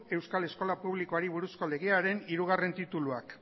euskal eskola publikoari buruzko legearen hirugarrena tituluak